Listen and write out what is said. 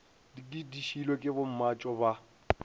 di šiilwe ke bommatšo ba